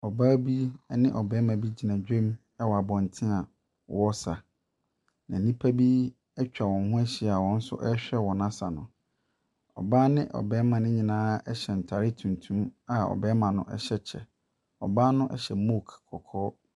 Ɔbaa bi ne ɔbarima bi gyina dwam wɔ abɔnten a wɔresa. Na nnipa bi atwa wɔn ho ahyia a wɔn nso rehwɛ wɔn asa no. Ɔbaane ɔbarima no nyinaa hyɛ ntaare tuntum a ɔbarima no ɛhyɛ kyɛ. Ɔbaa no hyɛ mook kɔkɔɔ.